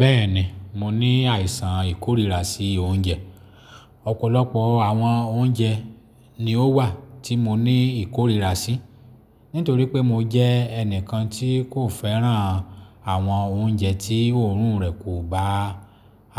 Bẹ́ẹ̀ni, mo ní àìsàn ìkórìíra sí oúnjẹ. Ọ̀pọ̀lọpọ̀ àwọn oúnjẹ ni ó wà tí mo ní ìkórìíra sí, nítorí pé mo jẹ́ ẹnìkan tí kò fẹ́ràn àwọn oúnjẹ tí òórùn rẹ̀ kò bá